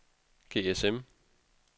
GSM